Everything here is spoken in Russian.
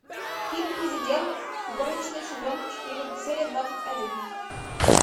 фильм президент горничной сезон четыре серия двадцать один